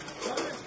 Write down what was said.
Nə gəldi?